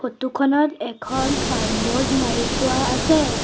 Photo খনত এখন signboard মাৰি থোৱা আছে।